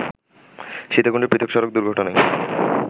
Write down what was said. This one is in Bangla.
সীতাকুণ্ডে পৃথক সড়ক দুর্ঘটনায়